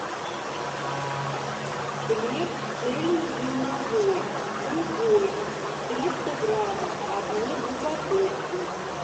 хлеб цельнозерновой любой триста граммов одну упаковку